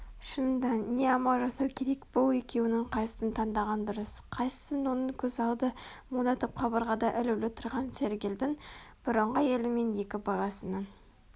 шынында не амал жасау керек бұл екеуінің қайсысын таңдаған дұрыс Қайсысын оның көз алды мұнартып қабырғада ілулі тұрған сәргелдің бұрынғы әйелі мен екі баласының